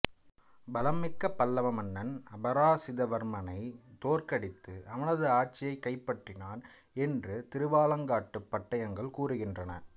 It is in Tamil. பலம் மிக்க பல்லவ மன்னன் அபராசித வர்மனை தோற்கடித்து அவனது ஆட்சியைக் கைப்பற்றினான் என்று திருவாலங்காட்டுப் பட்டயங்கள் கூறுகின்றன